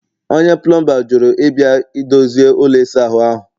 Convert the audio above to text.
onye plọmba jụrụ ịbịa dozie ụlọ ịsa ahụ